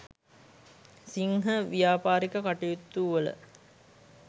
සිංහ ව්‍යාපාරික කටයුතුවල